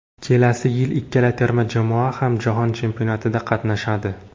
Kelasi yil ikkala terma jamoa ham jahon chempionatida qatnashadi.